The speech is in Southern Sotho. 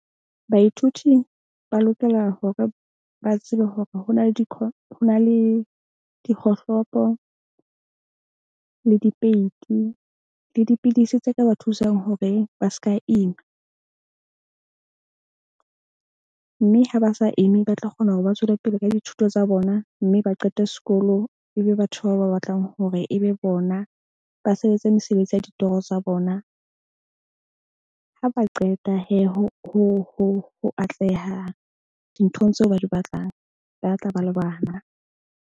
Baithuti ba lokela hore ba tsebe hore ho na le , ho na le dikgohlopo le dipeiti le dipidisi tse ka ba thusang hore ba ska ima. Mme ha ba sa imi ba tla kgona hore ba tswele pele ka dithuto tsa bona mme ba qete sekolo. Ebe batho bao ba batlang hore e be bona. Ba sebetse mesebetsi ya ditoro tsa bona. Ha ba qeta ho atleha dinthong tseo ba di batlang, ba tla ba le bana.